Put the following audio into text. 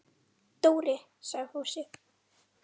Dóri! sagði Fúsi.